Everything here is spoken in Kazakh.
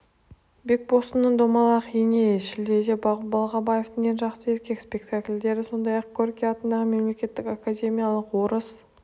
бекбосынның домалақ ене шілдеде балғабавтың ең жақсы еркек спектакльдері сондай-ақ горький атындағы мемлекеттік академиялық орыс